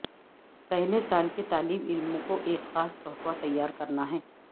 پہلے سال کے طالب علموں کو ایک خاص تحفہ تیار کرنا ہے